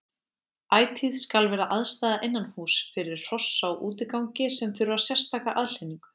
Ætíð skal vera aðstaða innanhúss fyrir hross á útigangi sem þurfa sérstaka aðhlynningu.